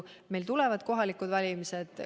Meil tulevad kohalikud valimised.